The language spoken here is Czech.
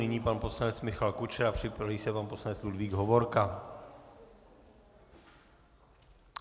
Nyní pan poslanec Michal Kučera, připraví se pan poslanec Ludvík Hovorka.